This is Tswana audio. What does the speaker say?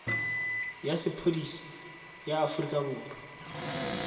ya sepodisi ya aforika borwa